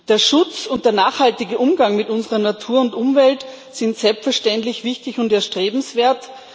Der Schutz und der nachhaltige Umgang mit unserer Natur und Umwelt sind selbstverständlich wichtig und erstrebenswert